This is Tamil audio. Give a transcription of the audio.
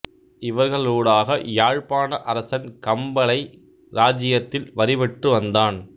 இவர்களூடாக யாழ்ப்பாண அரசன் கம்பளை இராச்சியத்தில் வரி பெற்று வந்தான்